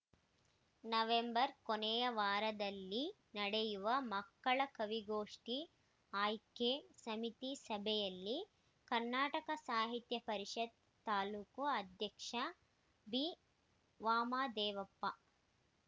November ಕೊನೆಯ ವಾರದಲ್ಲಿ ನಡೆಯುವ ಮಕ್ಕಳ ಕವಿಗೋಷ್ಠಿ ಆಯ್ಕೆ ಸಮಿತಿ ಸಭೆಯಲ್ಲಿ ಕನ್ನಡ ಸಾಹಿತ್ಯ ಪರಿಷತ್ ತಾಲೂಕು ಅಧ್ಯಕ್ಷ ಬಿವಾಮದೇವಪ್ಪ